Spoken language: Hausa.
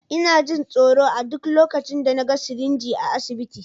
Ina jin tsoro a duk lokacin da na ga sirinji a asibiti.